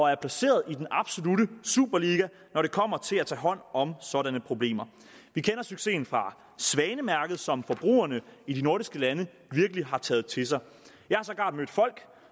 er placeret i den absolutte superliga når det kommer til at tage hånd om sådanne problemer vi kender succesen fra svanemærket som forbrugerne i de nordiske lande virkelig har taget til sig jeg har sågar mødt folk